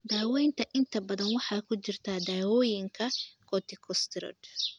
Daaweynta inta badan waxaa ku jira daawooyinka corticosteroid.